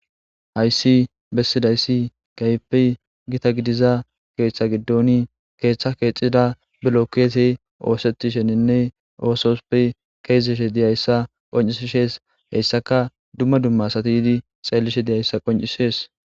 hayssi bessidayssi gaype gita gidiza keeththa giddoni keeththa keexida bilokeese oosettisheninne oososuppe keezeshe diyayssa qoncisishees heyssaka dumma dumma satiydi xeellishe diyayssa qoncisees